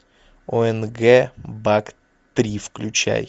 онг бак три включай